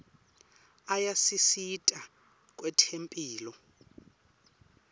ayasisita kwetemphilo